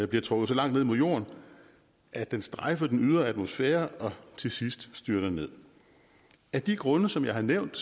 bliver trukket så langt ned mod jorden at den strejfer den ydre atmosfære og til sidst styrter ned af de grunde som jeg har nævnt